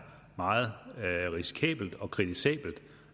meget risikabelt og kritisabelt